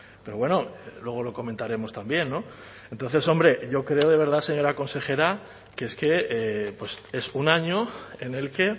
pero bueno luego lo comentaremos también entonces hombre yo creo de verdad señora consejera que es que es un año en el que